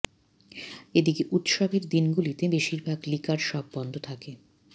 এদিকে উৎসবের দিন গুলিতে বেশিরভাগ লিকার শপ বন্ধ থাকে